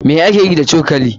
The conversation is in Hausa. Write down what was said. Me ake yi da cokali?